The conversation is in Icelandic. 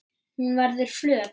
Hún verður flöt.